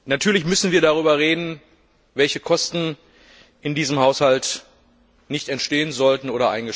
Natürlich müssen wir darüber reden, welche Kosten in diesem Haushalt nicht entstehen bzw.